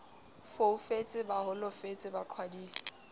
foufetse ba holofetse ba qhwadile